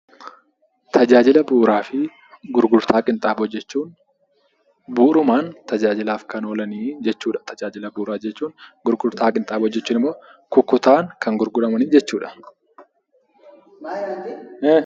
Tajaajila bu'uuraa fi gurgurtaa qinxaaboo jechuun bu'uurumaan tajaajilaaf kan oolan jechuudha. Gurgurtaa qinxaaboo jechuun immoo kukkutaan kan gurguraman jechuudha.